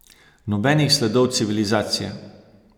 Nobenih sledov civilizacije!